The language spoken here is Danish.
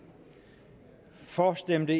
for stemte